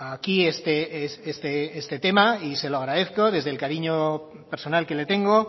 aquí este tema y se lo agradezco desde el cariño personal que le tengo